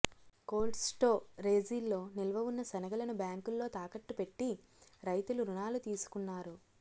కోల్ట్స్టోరేజీల్లో నిల్వ ఉన్న శనగలను బ్యాంకుల్లో తాకట్టుపెట్టి రైతులు రుణాలు తీసుకున్నారు